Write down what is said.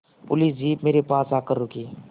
police jeep मेरे पास आकर रुकी